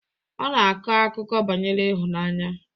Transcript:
Ọ na-akọ akụkọ banyere ịhụnanya